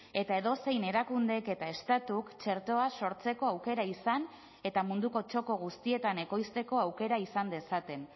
eta edozein erakundek eta estatuk txertoa sortzeko aukera izan eta munduko txoko guztietan ekoizteko aukera izan dezaten